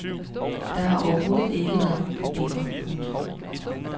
Der har har overhovedet ikke været nogen problemer. punktum